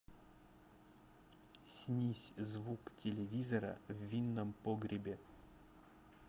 снизь звук телевизора в винном погребе